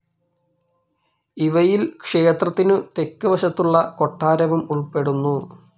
ഇവയിൽ ക്ഷേത്രത്തിനു തെക്ക് വശത്തുള്ള കൊട്ടാരവും ഉൾപ്പെടുന്നു.